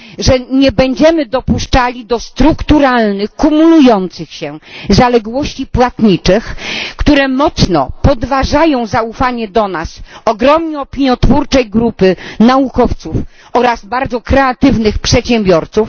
że nie będziemy dopuszczali do strukturalnych, kumulujących się zaległości płatniczych, które mocno podważają zaufanie do nas ogromnej opiniotwórczej grupy naukowców oraz bardzo kreatywnych przedsiębiorców